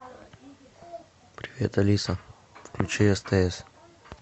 привет алиса включи стс